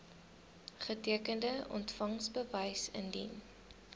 getekende ontvangsbewys indien